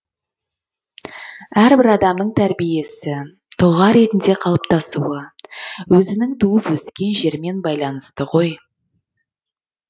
әрбір адамның тәрбиесі тұлға ретінде қалыптасуы өзінің туып өскен жерімен байланысты ғой